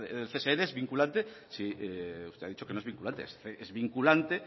csn es vinculante usted ha dicho que no es vinculante es vinculante